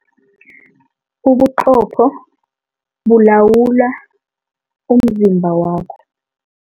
Ubuqopho bulawula umzimba wakho.